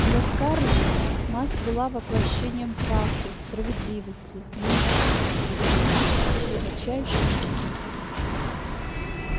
для скарлетт мать была воплощением правды справедливости нежности любви и глубочайшей мудрости